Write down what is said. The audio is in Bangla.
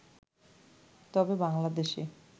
তবে বাংলাদেশে